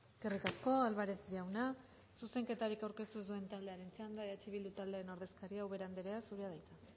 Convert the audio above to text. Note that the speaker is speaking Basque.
eskerrik asko álvarez jauna zuzenketarik aurkeztu ez duen taldearen txanda eh bildu taldearen ordezkaria ubera anderea zurea da hitza